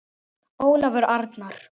Ólafur Arnar.